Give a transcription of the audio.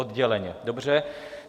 Odděleně, dobře.